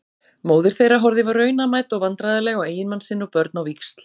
Móðir þeirra horfði raunamædd og vandræðaleg á eiginmann sinn og börn á víxl.